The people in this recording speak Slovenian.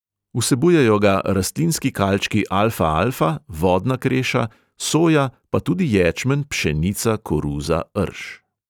Vsebujejo ga rastlinski kalčki alfa-alfa, vodna kreša, soja, pa tudi ječmen, pšenica, koruza, rž.